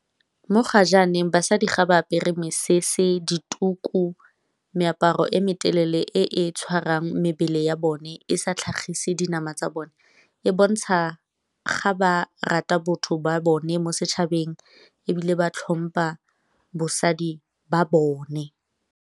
Mo ga jaaneng basadi ga ba apere mesese, dituku, meaparo e me telele e tshwarang mebele ya bone e sa tlhagise dinama tsa bone, e bontsha ga ba rata botho ba bone mo setšhabeng, ebile ba tlhompha bosadi ba bone.